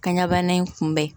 Kanɲɛbana in kunbɛn